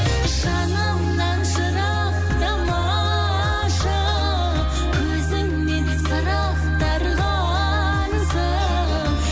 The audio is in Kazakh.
жанымнан жырақтамашы көзіңнен сыр ақтарғансың